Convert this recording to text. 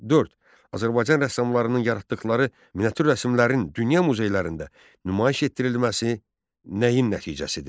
Dörd. Azərbaycan rəssamlarının yaratdıqları miniatür rəsmlərin dünya muzeylərində nümayiş etdirilməsi nəyin nəticəsidir?